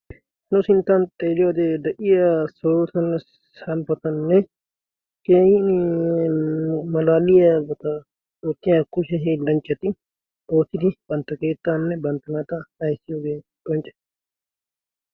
no sinttan xeelia wodee da7iya solotanne samppatanne keinimalaaliya wata oottiya kushehii lanccati oottidi bantta keettaanne bantta naata aissiyoogee qoncca